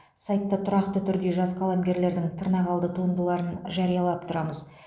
сайтта тұрақты түрде жас қаламгерлердің тырнақалды туындыларын жариялап тұрамыз